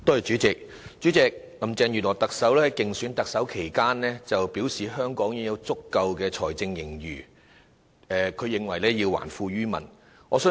主席，特首林鄭月娥在競選特首期間表示香港有足夠財政盈餘，因此要還富於民。